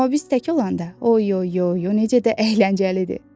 Amma biz tək olanda, o oy oy oy, necə də əyləncəlidir.